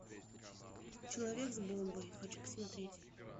человек с бомбой хочу посмотреть